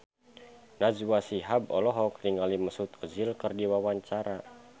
Najwa Shihab olohok ningali Mesut Ozil keur diwawancara